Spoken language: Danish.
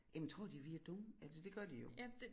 Jamen tror de vi er dumme altså det gør de jo